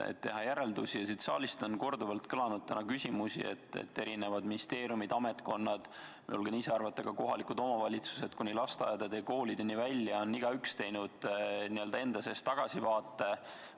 Saalist on täna korduvalt kõlanud, et erinevad ministeeriumid, ametkonnad, ma julgen ise arvata, ka kohalikud omavalitsused kuni lasteaedade ja koolideni välja, kõik on teinud enda sees tagasivaate.